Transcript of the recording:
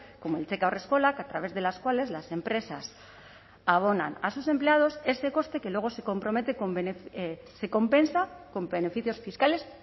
como el cheque haurreskolak a través de las cuales las empresas abonan a sus empleados ese coste que luego se compensa con beneficios fiscales